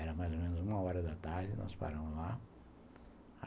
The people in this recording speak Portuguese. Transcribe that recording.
Era mais ou menos uma hora da tarde, nós paramos lá.